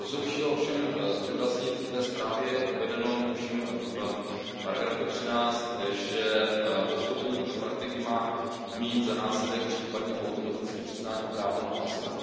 To, co bych chtěl ovšem zdůraznit v té zprávě je uvedeno, tuším v bodu 13, že podstoupení této praktiky má mít za následek případně automaticky přiznání práva na azyl.